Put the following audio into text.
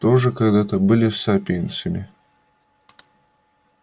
тоже когда-то были сапиенсами